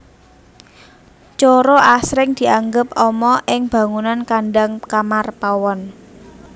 Coro asring dianggep ama ing bangunan kandhang kamar pawon